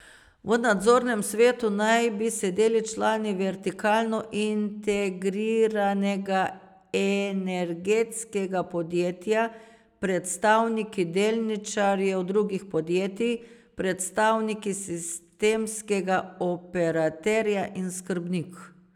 V nadzornem svetu naj bi sedeli člani vertikalno integriranega energetskega podjetja, predstavniki delničarjev drugih podjetij, predstavniki sistemskega operaterja in skrbnik.